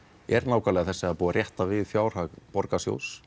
er nákvæmlega þessi það er búið að rétta við fjárhag borgarsjóðs